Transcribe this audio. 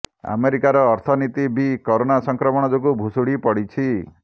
ଆମେରିକାର ଅର୍ଥନୀତି ବି କରୋନା ସଂକ୍ରମଣ ଯୋଗୁ ଭୁଶୁଡି ପଡିଛି